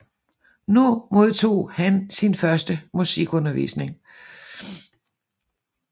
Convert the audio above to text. Nu modtog han sin første musikundervisning